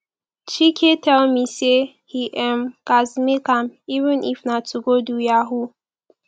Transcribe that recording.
chike tell me say he um gats make am even if na to go do yahoo